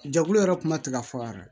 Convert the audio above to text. Jɛkulu yɛrɛ kuma tɛ ka fɔ yɛrɛ